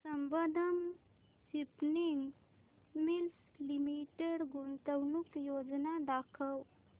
Sambandam spinning mills limited गुंतवणूक योजना दाखव